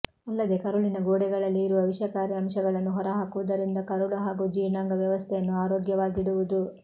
ಅಲ್ಲದೆ ಕರುಳಿನ ಗೋಡೆಗಳಲ್ಲಿ ಇರುವ ವಿಷಕಾರಿ ಅಂಶಗಳನ್ನು ಹೊರಹಾಕುವುದರಿಂದ ಕರುಳು ಹಾಗೂ ಜೀರ್ಣಾಂಗ ವ್ಯವಸ್ಥೆಯನ್ನು ಆರೋಗ್ಯವಾಗಿಡುವುದು